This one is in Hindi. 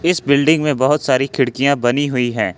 इस बिल्डिंग में बहोत सारी खिड़कियां बनी हुई है।